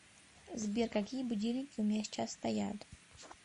сбер какие будильники у меня сейчас стоят